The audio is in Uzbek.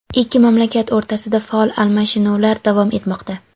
ikki mamlakat o‘rtasida faol almashinuvlar davom etmoqda.